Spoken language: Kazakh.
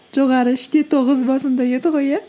жоғары үш те тоғыз ба сондай еді ғой иә